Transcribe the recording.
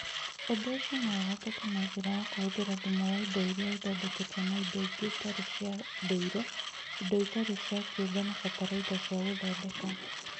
Ũndũ ũcio no ũhotekeke na njĩra ya kũhũthĩra thumu wa indo iria ithondeketwo na indo ingĩ itarĩ cia ndũire, indo itarĩ cia kĩũmbe na fatalaitha cia gũthondeka